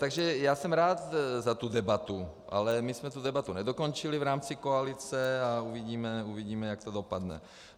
Takže já jsem rád za tu debatu, ale my jsme tu debatu nedokončili v rámci koalice a uvidíme, jak to dopadne.